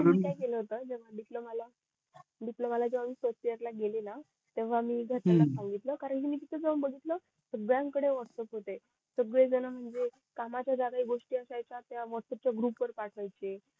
मी काय केलं होत डिप्लोमा ला डिप्लोमा ला first इयर ला गेली ना तेव्हा मी त्याना जाऊन सांगितलं कारण जेव्हा मी तिथे जाऊन बसली ना सगळ्या न कडे व्हॅटप्प्स होते सगळे जण म्हणजे कामा च्या चांगल्या गोष्टी असायच्या त्या व्हॅटप्प्स च्या ग्रुप वर पाठवायचे